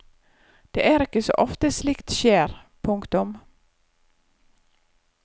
Det er ikke så ofte slikt skjer. punktum